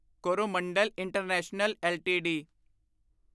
Coromandel international LTD